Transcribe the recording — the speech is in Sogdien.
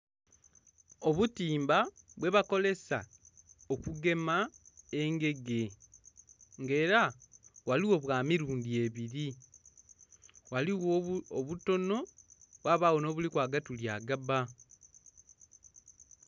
Obutimba bwebakolesa okugema engege nga era ghaligho bwamirundi ebiri ghaligho obutono ghabagho nh'obuliku agatuli agabba.